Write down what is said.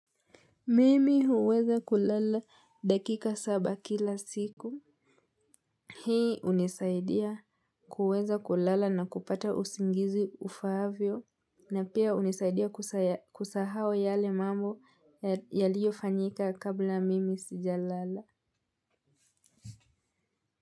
Mimi huweza kulala dakika saba kila siku. Hii hunisaidia kuweza kulala na kupata usingizi ufaavyo. Na pia hunisaidia kusahau yale mambo yaliyo fanyika kabla mimi sija lala.